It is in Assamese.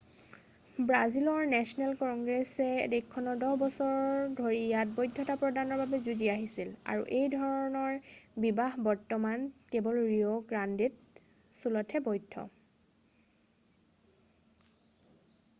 ব্ৰাজিলৰ নেচনেল কংগ্ৰেছে দেশখন 10 বছৰ ধৰি ইয়াৰ বৈধতা প্ৰদানৰ বাবে যুঁজি আহিছিল আৰু এই ধৰণৰ বিবাহ বৰ্তমান কেৱল ৰিঅ' গ্ৰাণ্ডে ড' ছুলতহে বৈধ